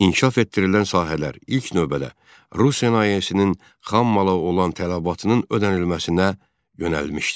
İnkişaf etdirilən sahələr ilk növbədə Rusiya sənayesinin xammala olan tələbatının ödənilməsinə yönəlmişdi.